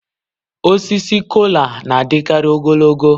Osisi Kola na-adịkarị ogologo